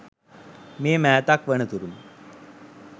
මේ මෑතක් වන තුරුම